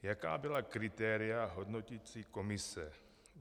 Jaká byla kritéria hodnoticí komise?